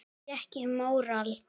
Þá fékk ég móral.